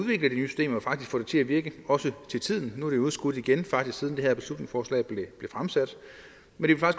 faktisk få det til at virke også til tiden nu er det jo udskudt igen faktisk siden det her beslutningsforslag blev fremsat